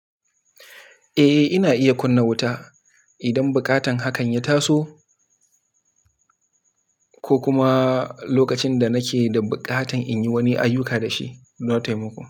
Eh, ina iya kunna wuta idan buƙatar hakan ya taso ko kuma lokacin da nake da buƙatar in yi wani ayyuka da shi don taimako.